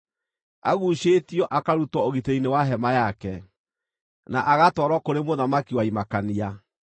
Aguucĩtio, akarutwo ũgitĩri-inĩ wa hema yake, na agatwarwo kũrĩ mũthamaki wa imakania.